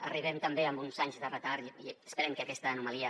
arribem també amb uns anys de retard i esperem que aquesta anomalia